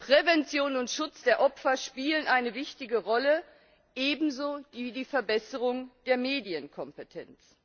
Prävention und Schutz der Opfer spielen eine wichtige Rolle, ebenso die Verbesserung der Medienkompetenz.